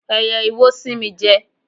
Ẹyẹ iwo sín mi jẹ.